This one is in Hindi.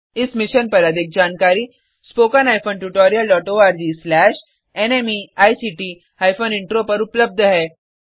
इस मिशन पर अधिक जानकारी httpspoken tutorialorgNMEICT इंट्रो पर उपलब्ध है